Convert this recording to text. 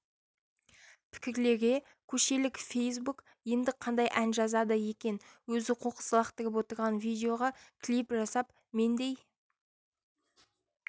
пікірлерге көшелік фейсбук енді қандай ән жазады екен өзі қоқыс лақтырып отырған видеоға клип жасап мендей